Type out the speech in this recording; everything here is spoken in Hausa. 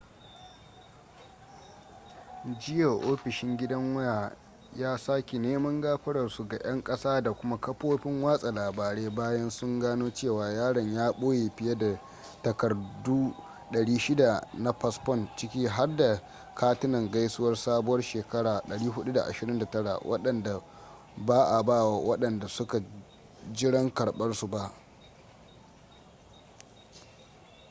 jiya ofishin gidan waya ya saki neman gafararsu ga 'yan ƙasa da kuma kafofin watsa labarai bayan sun gano cewa yaron ya ɓoye fiye da takardu 600 na fasfon ciki har da katinan gaisuwar sabuwar shekara 429 waɗanda ba a ba wa waɗanda suka jiran karɓarsu ba